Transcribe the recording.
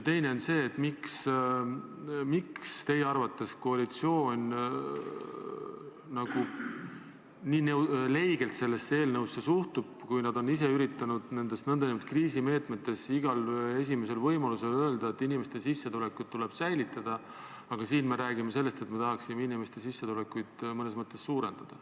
Teiseks, miks teie arvates koalitsioon nii leigelt sellesse eelnõusse suhtub, kui nad on ise üritanud nende nn kriisimeetmete puhul igal võimalusel öelda, et inimeste sissetulekud tuleb säilitada, aga siin me räägime sellest, et me tahaksime inimeste sissetulekuid mõnes mõttes suurendada.